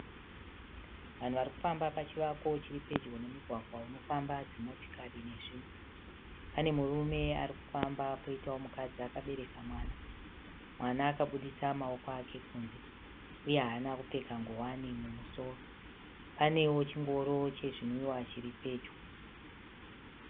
Vanhu varikufamba pachivako chiri pedyo nemugwagwa unofamba dzimotikari nezvimwe . Pane murume arikufamba poitawo mukadzi akabereka mwana. Mwana akabuditsa maoko ake kunze uye haana kupfeka nguwani mumusoro. Panewo chingoro chezvinwiwa chiri pedyo.